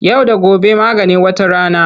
Yau da gobe maganin wata rana.